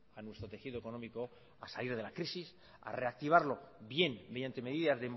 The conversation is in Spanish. a salir de la crisis a reactivarlo bien mediante medidas